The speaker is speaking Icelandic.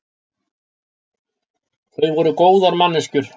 Þau voru góðar manneskjur.